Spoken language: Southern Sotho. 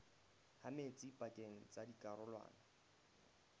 ha metsi pakeng tsa dikarolwana